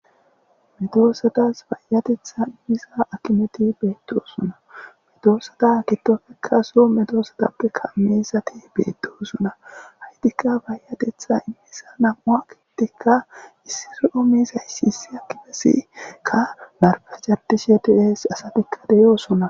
Medoosatas bayatetha immiza akimeti beettosuna medoosata kitofekka so medoosatappe kameesati beettosuna haytikka bayatetha immeesa nam'ua kittikka issiroo miisaysiisi akifesikka barfa cardishetiees asatikka deyoosona.